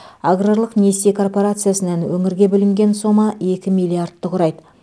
аграрлық несие корпорациясынан өңірге бөлінген сома екі миллиардты құрайды